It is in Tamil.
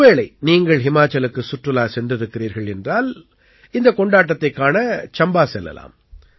ஒருவேளை நீங்கள் ஹிமாச்சலுக்குச் சுற்றுலா சென்றிருக்கிறீர்கள் என்றால் இந்தக் கொண்டாட்டத்தைக் காண சம்பா செல்லலாம்